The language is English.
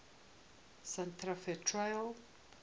santa fe trail